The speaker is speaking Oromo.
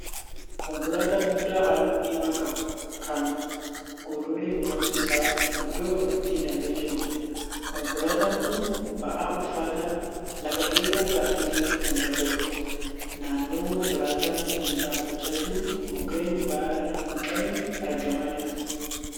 Konkolaataa guddaa halluu diimaa qabu kan gololleewwan isaa iddoo afuritti hidhamee jiruudha. Konkolaataan kun ba'aa ulfaataa lafa dheeraa baatee deemuu kan danda'uudha. Naannoo konkolaataan kun dhaabbachaa jiru mukeen baala hin qabne argamaa jiru.